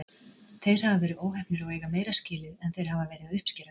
Þeir hafa verið óheppnir og eiga meira skilið en þeir hafa verið að uppskera.